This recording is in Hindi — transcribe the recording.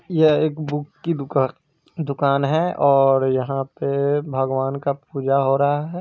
यह एक बुक की दुक आ दुकान है और यहाँ पे भगवान का पूजा हो रहा है।